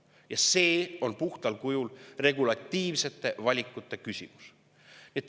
Ja see on puhtal kujul regulatiivsete valikute.